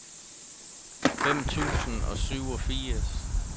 femten tusind og syvogfirs